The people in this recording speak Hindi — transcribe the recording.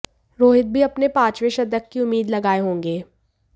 रोहित भी अपने पांचवें शतक की उम्मीद लगाए होंगे